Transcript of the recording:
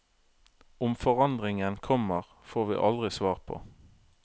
Om forandringen kommer, får vi aldri svar på.